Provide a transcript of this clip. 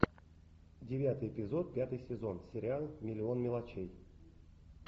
девятый эпизод пятый сезон сериал миллион мелочей